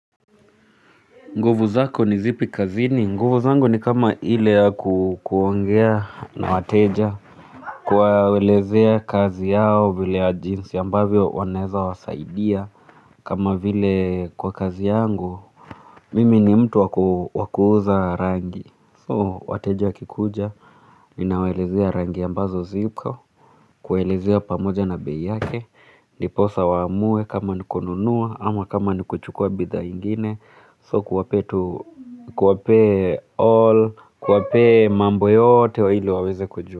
Nguvu zako ni zipi kazini, nguvu zangu ni kama ile ya kuongea na wateja kuwaelezea kazi yao vile ya jinsi ambavyo wanaeza wasaidia kama vile kwa kazi yangu, mimi ni mtu wa kuuza rangi. So wateja wakikuja, ninawelezea rangi ambazo ziko kuwaelezea pamoja na bei yake, ndiposa waamue kama ni kununua ama kama ni kuchukua bidhaa ingine. So kuwapea tu kuwapea all kuwapea mambo yote wa hilo waweze kujua.